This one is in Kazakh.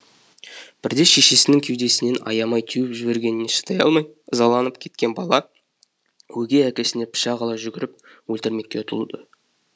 бірде шешесінің кеудесінен аямай теуіп жібергеніне шыдай алмай ызаланып кеткен бала өгей әкесіне пышақ ала жүгіріп өлтірмекке ұмтылады